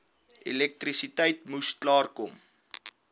elektrisiteit moes klaarkom